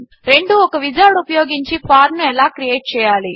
4 ఒక విజార్డ్ ఉపయోగించి ఫార్మ్ ను ఎలా క్రియేట్ చేయాలి